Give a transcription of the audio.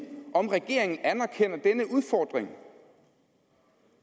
om regeringen anerkender denne udfordring